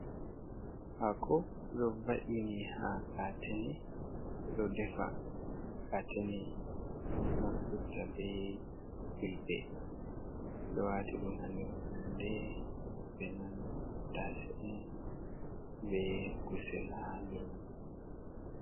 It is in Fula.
Haako ɗo va’ini ha katene, ɓe ɗo defa katene nafturta be ƴulɓe, ɗo waati ɗum ha nder fayende be man tattase on be kuusel ha nder man.